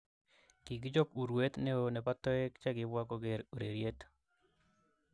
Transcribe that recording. Kikichop urweet neoo nepo toek chekipwa kogeer ureryet